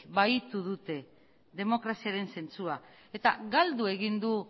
bahitu dute demokraziaren zentzua eta galdu egin du